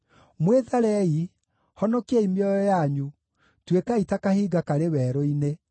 Mwĩtharei! Honokiai mĩoyo yanyu, tuĩkai ta kahinga karĩ werũ-inĩ.